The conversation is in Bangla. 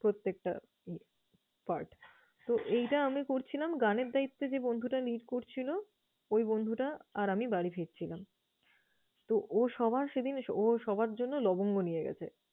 প্রত্যেকটা আহ part । So, এইটা আমি করছিলাম গানের দায়িত্বে যে বন্ধুটা lead করছিলো ওই বন্ধুটা আর আমি বাড়ি ফিরছিলাম। তো ও সবার সেদিন ও সবার জন্য লবঙ্গ নিয়ে গেছে।